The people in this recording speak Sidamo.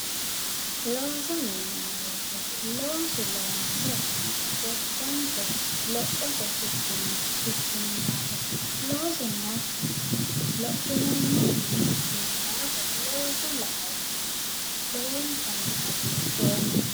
Looso yineemmo wote looso loonse gobbankera lophote ikkinno ikkino daafo loosu nookkiha lophineemmokkiha ikkino daafo looso laoommahunni lowonta hagiidhoomma